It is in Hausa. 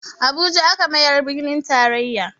Abuja aka mayar birnin taraiya